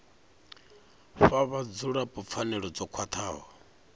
fhe vhadzulapo pfanelo dzo khwathaho